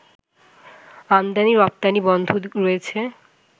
আমদানি রপ্তানি বন্ধ রয়েছে